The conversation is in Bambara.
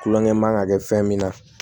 Kulonkɛ man kan ka kɛ fɛn min na